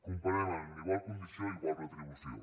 comparem a igual condició igual retribució